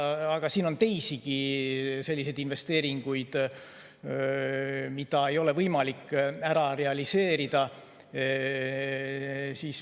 Aga siin on teisigi selliseid investeeringuid, mida ei ole võimalik realiseerida.